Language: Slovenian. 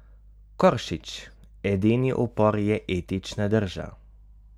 Koršič: 'Edini upor je etična drža.